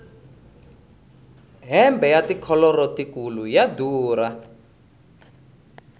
hembe ya tikholoro tikulu ya durha